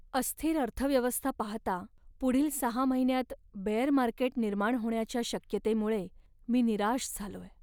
अस्थिर अर्थव्यवस्था पाहता पुढील सहा महिन्यांत बेअर मार्केट निर्माण होण्याच्या शक्यतेमुळे मी निराश झालोय.